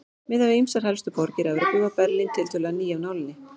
Miðað við ýmsar helstu borgir Evrópu var Berlín tiltölulega ný af nálinni.